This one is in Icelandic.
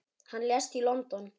Hann lést í London.